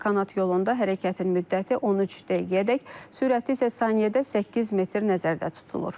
Kanat yolunda hərəkətin müddəti 13 dəqiqəyədək, sürəti isə saniyədə 8 metr nəzərdə tutulur.